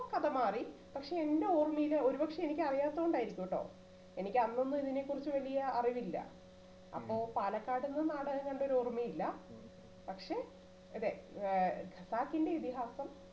ഇപ്പോ കഥ മാറി പക്ഷേ എൻറെ ഓർമ്മയില് ഒരുപക്ഷേ എനിക്ക് അറിയാത്തത് കൊണ്ട് ആയിരിക്കുട്ടോ എനിക്ക് അന്നൊന്നും ഇതിനെക്കുറിച്ച് വലിയ അറിവില്ല അപ്പോ പാലക്കാട്ട് നിന്ന് നാടകം കണ്ടത് ഓർമ്മയില്ല പക്ഷേ അതെ ആ ഖസാക്കിന്റെ ഇതിഹാസം